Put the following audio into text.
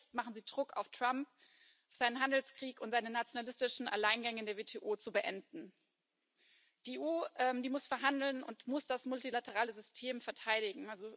Schon jetzt machen sie Druck auf Trump, seinen Handelskrieg und um seine nationalistischen Alleingänge in der WTO zu beenden. Die EU muss verhandeln und muss das multilaterale System verteidigen.